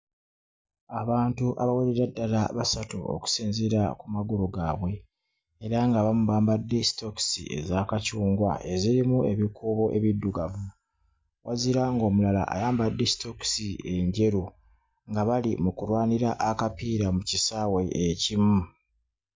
Abantu abawerera ddala basatu okusinziira ku magulu gaabwe era ng'abamu bambadde sitookisi eza kacungwa ezirimu ebikuubo ebiddugavu. Wazira ng'omulala ayambadde sitookisi enjeru nga bali mu kulwanira akapiira mu kisaawe ekimu.